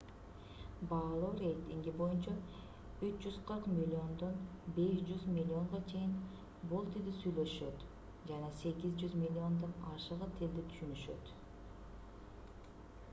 баалоо рейтинги боюнча 340 миллиодон 500 миллионго чейин бул тилде сүйлөшөт жана 800 миллиондон ашыгы тилди түшүнүшөт